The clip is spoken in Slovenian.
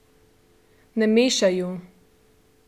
Ne mešaj ju!